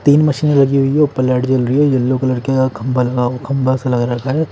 तीन मशीन लगी हुई है ऊपर लाइट जल री है येलो कलर का खंभा लगा खंभा सा लगा रखा है।